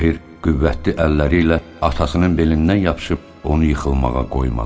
Tahir qüvvətli əlləri ilə atasının belindən yapışıb, onu yıxılmağa qoymadı.